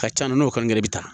Ka ca n'o kan i bɛ taa